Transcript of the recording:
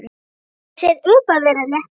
Gerir sér upp að vera léttur.